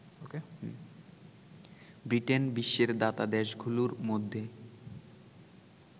Britain বিশ্বের দাতাদেশগুলোর মধ্যে